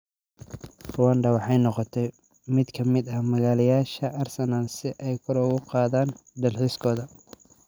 Rwanda waxay noqotay mid ka mid ah maalgeliyayaasha Arsenal si ay kor ugu qaadaan dalxiiskooda